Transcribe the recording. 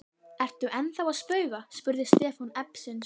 Ertu ennþá að spauga? spurði Stefán efins.